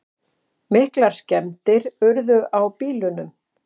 Miklar skemmdir urðu á bílunum